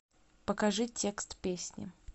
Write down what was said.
покажи текст песни